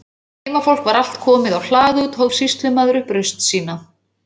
Þegar heimafólk var allt komið á hlað út, hóf sýslumaður upp raust sína.